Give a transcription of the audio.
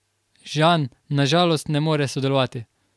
Žan na žalost ne more sodelovati.